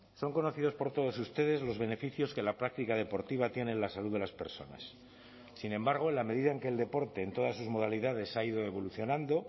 son conocidos por todos ustedes los beneficios que la práctica deportiva tiene en la salud de las personas sin embargo en la medida en que el deporte en todas sus modalidades ha ido evolucionando